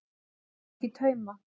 Að ganga í tauma